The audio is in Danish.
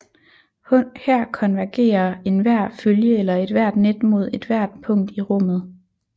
Her konvergerer enhver følge eller ethvert net mod ethvert punkt i rummet